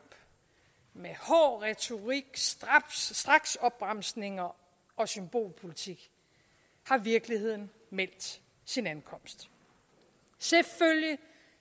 med hård retorik straksopbremsninger og symbolpolitik har virkeligheden meldt sin ankomst selvfølgelig